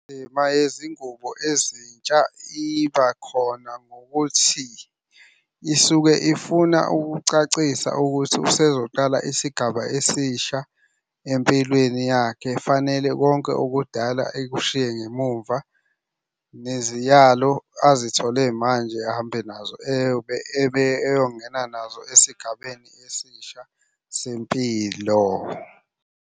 Indima yezingubo ezintsha iba khona ngokuthi isuke ifuna ukucacisa ukuthi usezoqala isigaba esisha empilweni yakhe. Fanele konke okudala ekushiye ngemumva. Neziyalo azithole manje ahambe nazo eyobe ebe eyongena nazo esigabeni esisha sempilo.